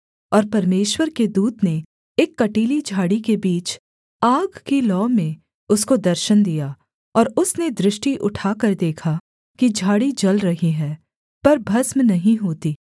और परमेश्वर के दूत ने एक कँटीली झाड़ी के बीच आग की लौ में उसको दर्शन दिया और उसने दृष्टि उठाकर देखा कि झाड़ी जल रही है पर भस्म नहीं होती